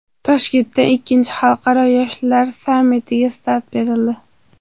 Toshkentda ikkinchi xalqaro yoshlar sammitiga start berildi.